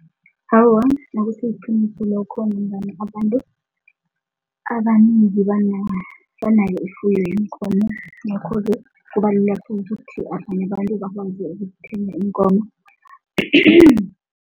Awa, akusiliqiniso lokho ngombana abantu abanengi banayo ifuyo yeenkomo ngakho-ke kubalula khulu ukuthi abanye abantu bakwazi ukuthenga iinkomo